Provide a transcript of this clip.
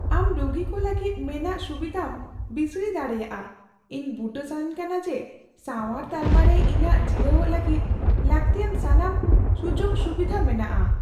ᱟᱢ ᱨᱩᱜᱤ ᱠᱚ ᱞᱟᱹᱜᱤᱫ ᱢᱮᱱᱟᱜ ᱥᱩᱵᱤᱫᱷᱟᱢ ᱵᱤᱥᱲᱤ ᱫᱟᱲᱮᱭᱟᱜᱼᱟ ? ᱤᱧ ᱵᱩᱴᱟᱹ ᱥᱟᱱᱟᱧ ᱠᱟᱱᱟ ᱡᱮ ᱥᱟᱶᱟᱨ ᱛᱟᱞᱢᱟ ᱨᱮ ᱤᱧᱟᱹᱜ ᱡᱤᱨᱟᱹᱣᱚᱜ ᱞᱟᱹᱜᱤᱫ ᱞᱟᱹᱠᱛᱤᱭᱟᱱ ᱥᱟᱱᱟᱢ ᱥᱩᱡᱳᱜᱼᱥᱩᱵᱤᱫᱷᱟ ᱢᱮᱱᱟᱜᱼᱟ ᱾